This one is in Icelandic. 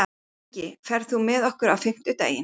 Ingi, ferð þú með okkur á fimmtudaginn?